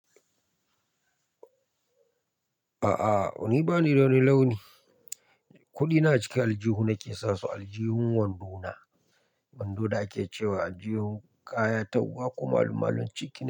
A'a, ni ba ni da wani launi. Kuɗina a cikin aljihuna nake sasu aljihun wandona, wando da ake cewa aljihun kaya ta uwa ko malu-malun cikin.